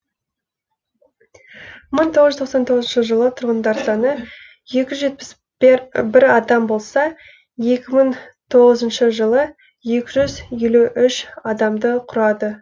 мың тоғыз жүз тоқсан тоғызыншы жылы тұрғындар саны екі жүз жетпіс бір адам болса екі мың тоғызыншы жылы екі жүз елу үш адамды құрады